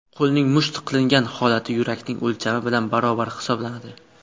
Qo‘lning musht qilingan holati yurakning o‘lchami bilan barobar hisoblanadi.